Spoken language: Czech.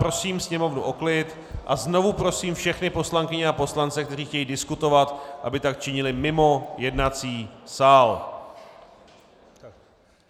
Prosím sněmovnu o klid a znovu prosím všechny poslankyně a poslance, kteří chtějí diskutovat, aby tak činili mimo jednací sál!